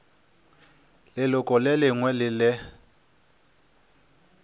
leloko le lengwe le le